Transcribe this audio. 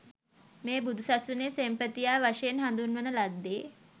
මේ බුදුසසුනේ සෙන්පතියා වශයෙන් හඳුන්වන ලද්දේ